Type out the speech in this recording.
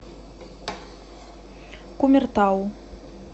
кумертау